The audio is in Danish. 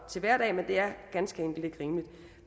til hverdag men det er ganske enkelt ikke rimeligt